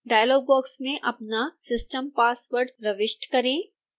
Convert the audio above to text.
dialogue box में अपना system password प्रविष्ट करें